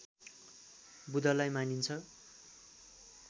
बुधलाई मानिन्छ